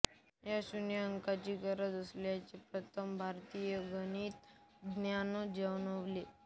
या शून्य अंकाची गरज असल्याचे प्रथम भारतीय गणितज्ञांना जाणवले